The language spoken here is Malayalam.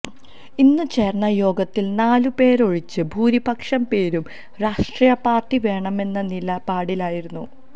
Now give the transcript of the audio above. ഇന്നു ചേര്ന്ന യോഗത്തില് നാലുപേരൊഴിച്ച് ഭൂരിപക്ഷം പേരും രാഷ്ട്രീയ പാര്ട്ടി വേണമെന്ന നിലപാടിലായിരുന്നു